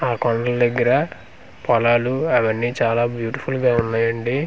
ఆ కొండలు దగ్గర పొలాలు అవన్నీ చాలా బ్యూటిఫుల్ గా ఉన్నాయండి.